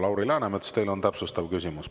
Lauri Läänemets, teil on täpsustav küsimus.